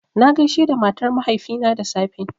Na gaishe da matar mahaifina da safe